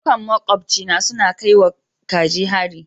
Karnukan maƙobcina suna son kai wa kaji hari.